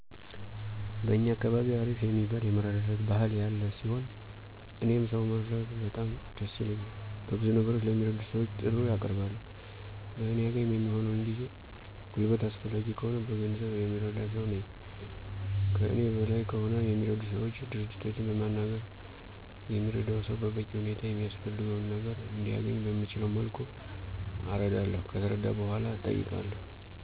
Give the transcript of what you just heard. በእኛ አካባቢ አሪፍ የሚባል የመረዳዳት ባህል ያለ ሲሆን፤ እኔም ሰው መርዳት በጣም ደስ ይለኛል። በብዙ ነገሮች ለሚረዱ ሰወች ጥሪ አቀርባለሁ። በእኔ አቅም የሚሆነውን ጊዜ፣ ጉልበት አስፈላጊ ከሆነ በገንዘብ የምረዳ ሰው ነኝ። ከእኔ በላይ ከሆነ የሚረዱ ሰወች፣ ድርጅቶችን በሚናገር የሚረዳው ሰው በበቂ ሁኔታ የሚያስፈልገው ነገር እንዲያነኝ በምችለው መልኩ አረዳለሁ። ከተረዳ በኃላ እጠይቀዋለሁ።